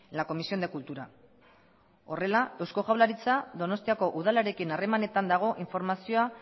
la comisión de cultura horrela eusko jaurlaritza donostiako udalarekin harremanetan dago informazioa